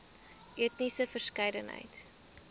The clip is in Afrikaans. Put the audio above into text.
etniese verskeidenheid